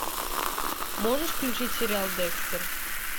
можешь включить сериал декстер